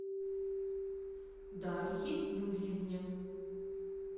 дарье юрьевне